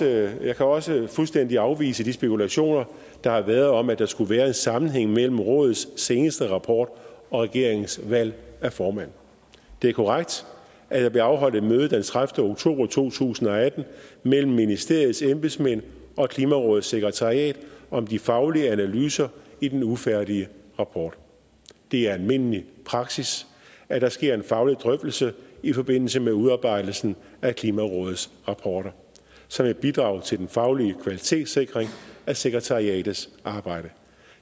jeg kan også fuldstændig afvise de spekulationer der har været om at der skulle være en sammenhæng mellem rådets seneste rapport og regeringens valg af formand det er korrekt at der blev afholdt et møde den tredivete oktober to tusind og atten mellem ministeriets embedsmænd og klimarådets sekretariat om de faglige analyser i den ufærdige rapport det er almindelig praksis at der sker en faglig drøftelse i forbindelse med udarbejdelsen af klimarådets rapporter som et bidrag til den faglige kvalitetssikring af sekretariatets arbejde